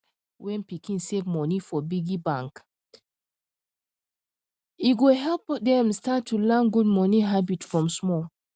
when pikin save money for piggy bank e go help dem start to learn good money habit from small